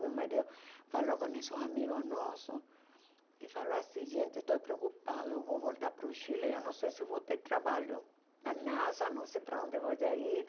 Meu marido falou com esses amigos nossos e falou assim, gente, estou preocupada, eu vou voltar para o Chile, eu não sei se vou ter trabalho na NASA, não sei para onde vou ir.